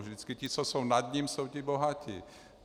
Vždycky ti, co jsou nad ním, jsou ti bohatí.